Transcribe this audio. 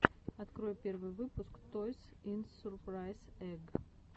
открой первый выпуск тойс ин сурпрайз эгг